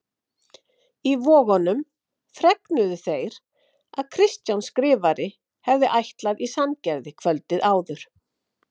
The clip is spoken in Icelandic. Í Vogunum fregnuðu þeir að Kristján Skrifari hefði ætlað í Sandgerði kvöldið áður.